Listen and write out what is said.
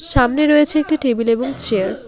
সামনে রয়েছে একটি টেবিল এবং চেয়ার ।